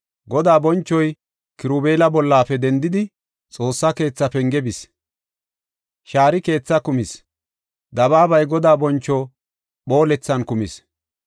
Godaa bonchoy Kirubeela bollafe dendidi, Xoossa keetha penge bis. Shaari keethaa kumis; dabaabay Godaa boncho phoolethan kumis.